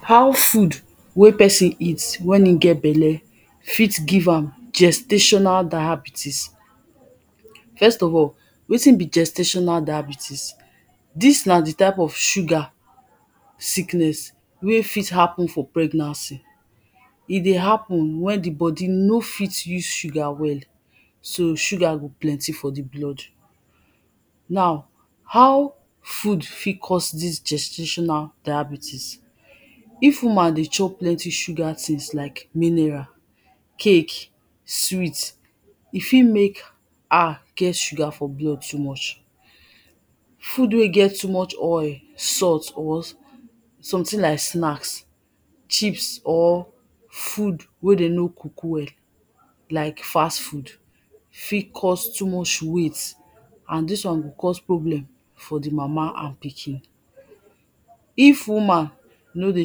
How food wey person eat when e get belle fit give am gestational diabetes first of all, wetin be gestational diabetes dis na di type of sugar sickness wey fit happen for pregnancy E dey happen wen di bodi no fit use sugar well so sugar go plenty for di blood Naw, how food fit cause dis gestational diabetes If woman dey chop plenty sugar things like mineral cake, sweet, e fit make her get sugar for blood too much Food wey get too much oil, salt or something like snacks, chips, or food wey dem no cook well like fast food fit cause too much weight and dis wan go cause problem for di mama and pikin If woman no dey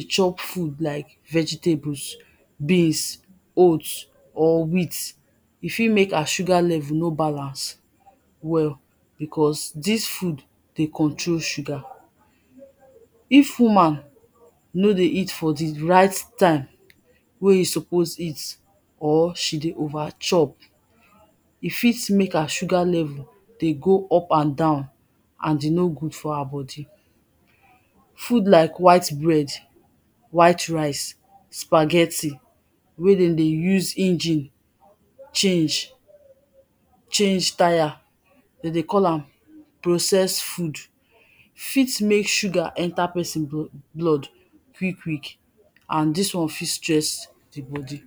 chop food like vegetables beans, oats, or wheat, e fit mek her sugar levels no balance well becos dis foods dey control sugar If woman no dey eat for di right time wey e suppose eat or she dey over chop e fit mek her sugar level dey go up and down and e no good for her bodi Food like white bread, white rice, spaghetti wey dem dey use engine change change tire, dem dey call am processed food fit mek sugar enter person blood quick quick and dis one fit stress di bodi